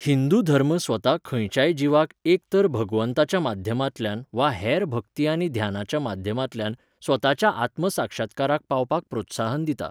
हिंदू धर्म स्वता खंयच्याय जीवाक एक तर भगवंताच्या माध्यमांतल्यान वा हेर भक्ती आनी ध्यानाच्या माध्यमांतल्यान स्वताच्या आत्मसाक्षात्काराक पावपाक प्रोत्साहन दिता.